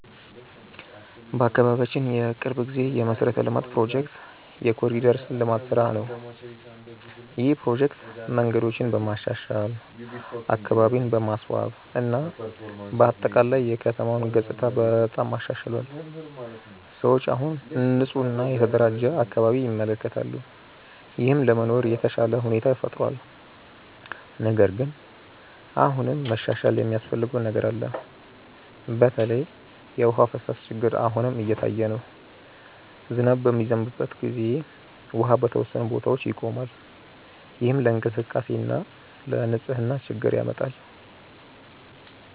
በአካባቢያችን የቅርብ ጊዜ የመሠረተ ልማት ፕሮጀክት የ“ኮሪደር ልማት” ስራ ነው። ይህ ፕሮጀክት መንገዶችን በማሻሻል፣ አካባቢን በማስዋብ እና በአጠቃላይ የከተማውን ገጽታ በጣም አሻሽሏል። ሰዎች አሁን ንፁህ እና የተደራጀ አካባቢ ይመለከታሉ፣ ይህም ለመኖር የተሻለ ሁኔታ ፈጥሯል። ነገር ግን አሁንም መሻሻል የሚያስፈልገው ነገር አለ። በተለይ የውሃ ፍሳሽ ችግር አሁንም እየታየ ነው። ዝናብ በሚዘንብበት ጊዜ ውሃ በተወሰኑ ቦታዎች ይቆማል፣ ይህም ለእንቅስቃሴ እና ለንፅህና ችግር ያመጣል።